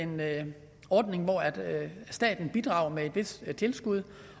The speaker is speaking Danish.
med en ordning hvor staten bidrager med et vist tilskud